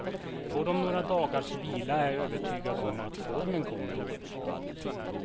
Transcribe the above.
Får de några dagars vila är jag övertygad om att formen kommer.